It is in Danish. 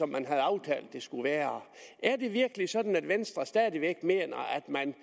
man havde aftalt det skulle være er det virkelig sådan at venstre stadig væk mener at man